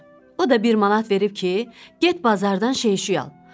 O da bir manat verib ki, get bazardan şey şüy al.